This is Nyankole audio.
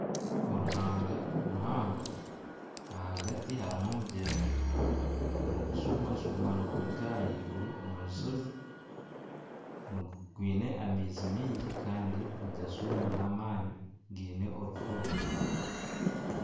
Oruhaanga ruhango, ahagati harimu omugyera nigushuuma shuuma niguruga ahaiguru omu mushozi. Gwine amaizi maingi kandi nigashuuma n'amaani, gaine orufuro.